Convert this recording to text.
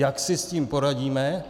Jak si s tím poradíme?